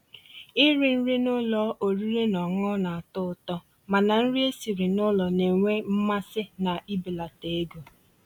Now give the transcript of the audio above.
Írì nrí n'ụ́lọ̀ ọ̀rị́rị́ ná ọ̀ṅụ̀ṅụ̀ ná-àtọ́ ụ̀tọ́, mànà nrí èsirí n'ụ́lọ̀ ná-ènwé mmàsí ná íbèlàtà égó.